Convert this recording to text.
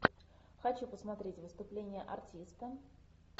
хочу посмотреть выступление артиста